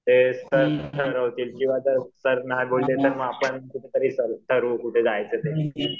ते सर ठरवतील ठरवू कुठे जायचं ते.